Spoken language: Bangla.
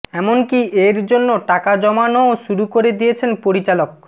এমনকী এর জন্য টাকা জমানোও শুরু করে দিয়েছেন পরিচালক